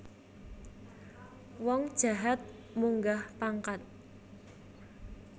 Wong jahat munggah pangkat